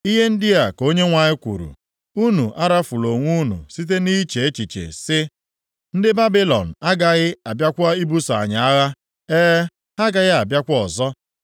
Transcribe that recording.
“Ihe ndị a ka Onyenwe anyị kwuru, Unu arafula onwe unu site nʼiche echiche sị, ‘Ndị Babilọn agaghị abịakwa ibuso anyị agha.’ E, ha agaghị abịakwa ọzọ.